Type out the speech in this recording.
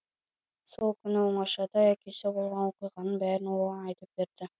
сол күні оңашада әкесі болған оқиғаның бәрін оған айтып берді